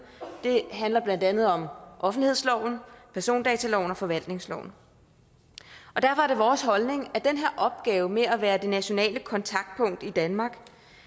det handler blandt andet om offentlighedsloven persondataloven og forvaltningsloven derfor er det vores holdning at den her opgave med at være det nationale kontaktpunkt i danmark